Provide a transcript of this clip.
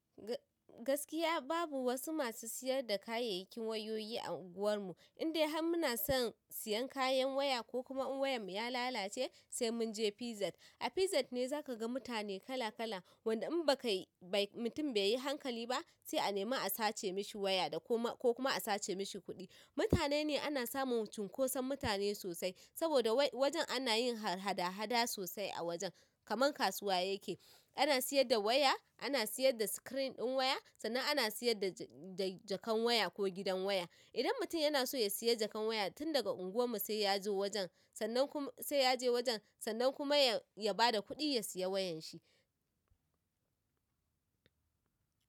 Gaskiya babu wasu masu siyar da kayayyakin wayoyi a unguwarmu indai har muna son siyan kayan waya ko kuma in wayarmu ya lalace sai mun je Pisat. A Pisat ne za ka ga mutane kala kala wanda in bakai mutum bai yi hankali ba sai a nemi a sace mishi waya da ko kuma a sace mishi kuɗi. Mutane ne ana samun cunkoson mutane sosai saboda wajen ana yin hada-hada sosai a wajen kamar kasuwa yake. Ana siyar da waya, ana siyar da screen ɗin waya sannan ana siyar da jakar waya ko gidan waya. Idan mutum yana so ya siya jakan waya tun daga unguwar mu sai ya zo wajen sannan sai ya je wajen sannan kuma ya bada kuɗi ya siya wayan shi.